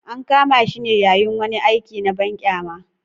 An kama shi ne yayin wani aiki na banƙyama.